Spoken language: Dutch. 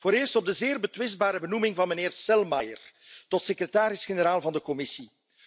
Allereerst op de zeer betwistbare benoeming van meneer Selmayr tot secretaris generaal van de Commissie.